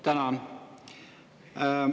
Tänan!